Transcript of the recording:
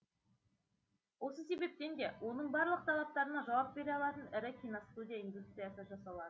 осы себептен де оның барлық талаптарына жауап бере алатын ірі киностудия индустриясы жасалады